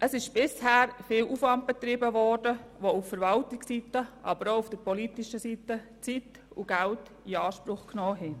Bisher wurde viel Aufwand betrieben, welcher auch auf Verwaltungsseite, aber ebenso auf politischer Seite Zeit und Geld in Anspruch genommen hat.